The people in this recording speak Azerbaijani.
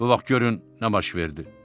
Bu vaxt görün nə baş verdi.